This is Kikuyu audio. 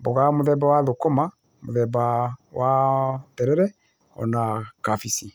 mboga mũthemba wa thũkũma, mũthemba wa, wa terere, o na kabici.